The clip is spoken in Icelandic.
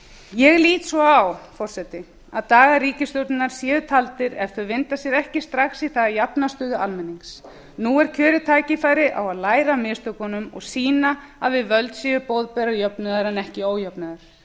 ég lít svo á forseti að dagar ríkisstjórnarinnar séu taldir ef þeir vinda sér ekki strax í það að jafna stöðu almennings nú er kjörið tækifæri á að læra af mistökunum og sýna að við völd séu boðberar jöfnuðar en ekki ójöfnuðar